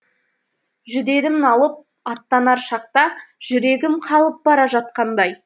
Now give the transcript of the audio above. жүдедім налып аттанар шақта жүрегім қалып бара жатқандай